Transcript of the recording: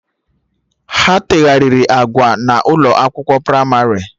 Ha tegharịrị agba na ụlọ akwụkwọ pramarị